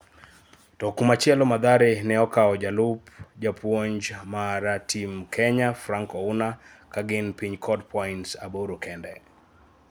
To kumachielo Mathare ne okawo jaluop japuonj mar tim Kenya Frank Ouna ka gin piny kod pints aboro kende